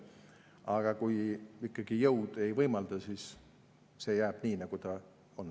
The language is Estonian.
Aga kui ikkagi jõud ei võimalda, siis merel jääb nii, nagu ta on.